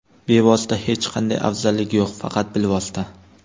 Bevosita hech qanday afzalligi yo‘q, faqat bilvosita.